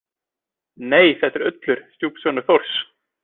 Nei, þetta er Ullur, stjúpsonur Þórs